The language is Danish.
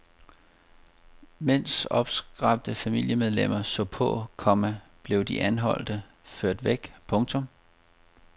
Mens opskræmte familiemedlemmer så på, komma blev de anholdte ført væk. punktum